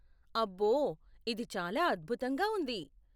అబ్బో! ఇది చాలా అద్భుతంగా ఉంది.